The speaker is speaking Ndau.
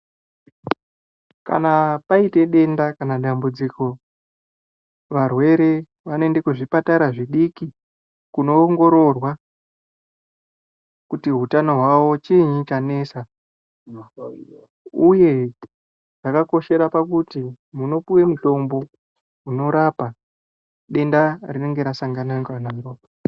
Kana paite denda kana kuti dambudziko varwere vanoenda kuzvipatara zvidiki kunoongororwa kuti utano hwawo chinyi chanetsa uye zvakakoshera pakuti munopiwe mutombo unorapa denda rinenga rasanganiwa naro.